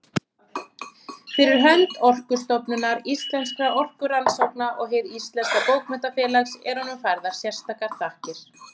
Fyrir hönd Orkustofnunar, Íslenskra orkurannsókna og Hins íslenska bókmenntafélags eru honum færðar sérstakar þakkir.